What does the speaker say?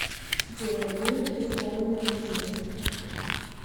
у тебя будет рискованный бизнес